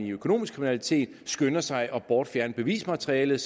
økonomisk kriminalitet hvor skynder sig at bortfjerne bevismaterialet